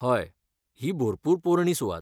हय, ही भरपूर पोरणी सुवात.